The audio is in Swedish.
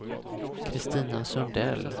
Christina Sundell